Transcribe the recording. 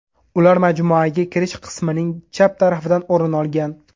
Ular majmuaga kirish qismining chap tarafidan o‘rin olgan.